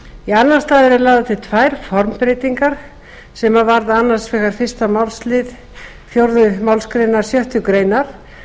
í annan stað eru lagðar til tvær formbreytingar sem varða annars vegar fyrsta málsl fjórðu málsgrein sjöttu greinar